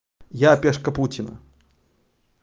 я пешка путина